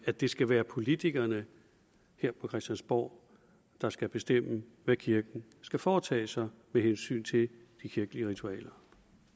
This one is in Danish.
at det skal være politikerne her på christiansborg der skal bestemme hvad kirken skal foretage sig med hensyn til de kirkelige ritualer